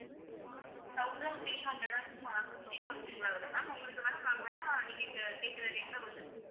thousand three hundred and sixty something ல வருது ma'am உங்களுக்கு வேணா நாங்க வேணா நீங்க கேக்குற rate ல வந்து